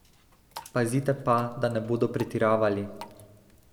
Pazite pa, da ne bodo pretiravali.